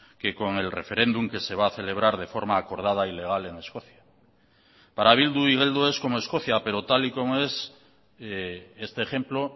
que con el referéndum que se va a celebrar de forma acordada y legal en escocia para bildu igeldo es como escocia pero tal y como es este ejemplo